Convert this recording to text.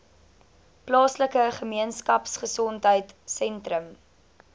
plaaslike gemeenskapgesondheid sentrum